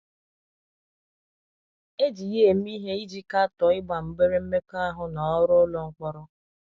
E ji ya eme ihe iji katọọ ịgba mgbere mmekọahụ na ọrụ ụlọ mkpọrọ. ”